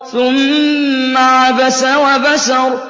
ثُمَّ عَبَسَ وَبَسَرَ